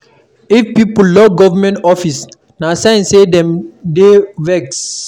If pipo lock government office, na sign say dem dey vex.